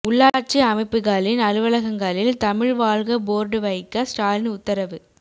உள்ளாட்சி அமைப்புகளின் அலுவலகங்களில் தமிழ் வாழ்க போர்டு வைக்க ஸ்டாலின் உத்தரவு